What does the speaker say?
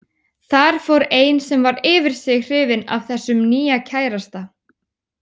Þar fór ein sem var yfir sig hrifin af þessum nýja kærasta.